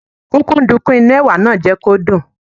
Kúkúǹdùkú inú Ẹ̀wà náà jẹ́ kí ó dùn.